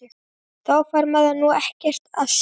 Þá fær maður nú ekkert að sjá!!